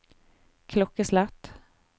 klokkeslett